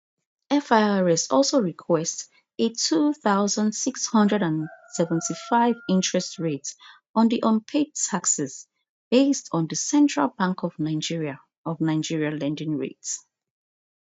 firs also request a two thousand, six hundred and seventy-five interest rate on di unpaid taxes based on di central bank of nigeria of nigeria lending rate